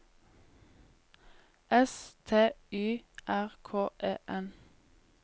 S T Y R K E N